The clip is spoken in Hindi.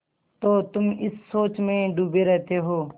तो तुम इस सोच में डूबे रहते हो